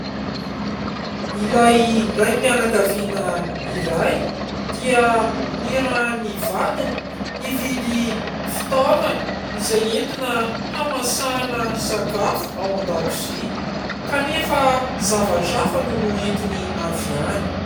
Ilay raim-pianakaviana iray dia nirahan'ny vadiny hividy fitaovana izay entina hamasahana sakafo ao an-dakozia kanefa zavatra hafa no noentiny avy any.